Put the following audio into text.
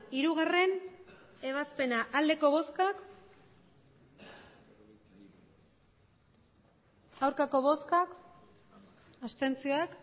hirugarrena ebazpena emandako botoak